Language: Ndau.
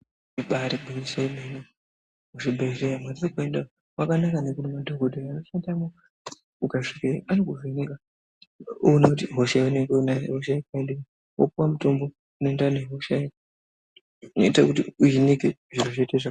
Ibairi ngwinyiso yemene mu zvibhedhleya mwatiri kuenda kwakanaka nekuti madhokodheya ano shandamwo uka svike anoku vheneka oona kuti hosha yaunenge unayo ihosha yakadini wopuwa mutombo uno enderana ne hoshayo zvinoita kuti uhinike zviro zviite zvakanaka.